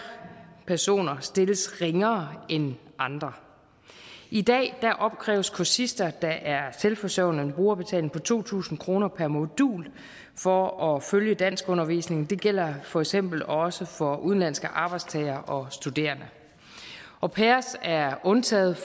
personer stilles ringere end andre i dag opkræves kursister der er selvforsørgende en brugerbetaling på to tusind kroner per modul for at følge danskundervisning det gælder for eksempel også for udenlandske arbejdstagere og studerende au pairer er undtaget